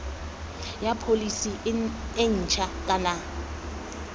ya pholese e ntšha kana